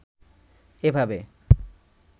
এভাবে